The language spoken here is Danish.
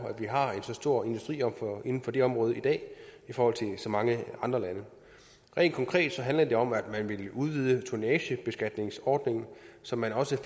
at vi har så store industrier på det område i dag i forhold til så mange andre lande rent konkret handler det om at vi vil udvide tonnagebeskatningsordningen så man også